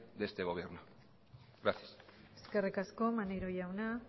de este gobierno gracias eskerrik asko maneiro jauna